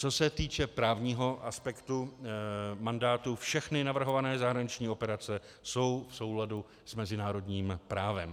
Co se týče právního aspektu mandátu, všechny navrhované zahraniční operace jsou v souladu s mezinárodním právem.